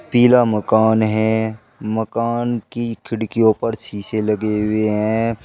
पिला मकान हैं मकान की खिड़कियों पर शीशे लगे हुए है।